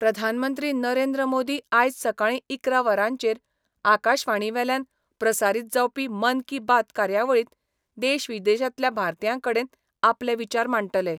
प्रधानमंत्री नरेंद्र मोदी आयज सकाळी इकरा वरांचेर आकाशवाणीवेल्यान प्रसारित जावपी मन की बात कार्यावळीत देश विदेशातल्या भारतीयांकडे आपले विचार मांडटले.